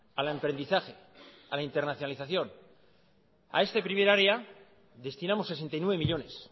al emprendizaje a la internacionalización a este primer área destinamos sesenta y nueve millónes